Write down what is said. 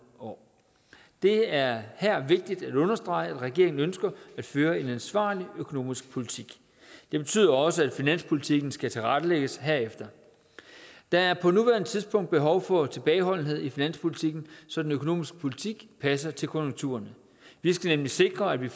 år det er her vigtigt at understrege at regeringen ønsker at føre en ansvarlig økonomisk politik det betyder også at finanspolitikken skal tilrettelægges herefter der er på nuværende tidspunkt behov for tilbageholdenhed i finanspolitikken så den økonomiske politik passer til konjunkturerne vi skal nemlig sikre at vi